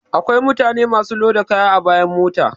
Akwai mutane masu loda kaya a bayan mota